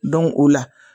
o la